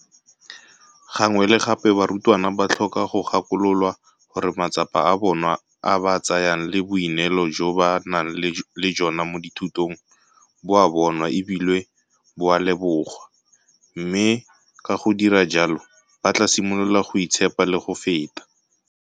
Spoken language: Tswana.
Gangwe le gape barutwana ba tlhoka go gakololwa gore matsapa a ba a tsayang le boineelo jo ba nang le jona mo dithutong bo a bonwa e bile bo a lebogwa, mme ka go dira jalo ba tla simolola go itshepa le go feta.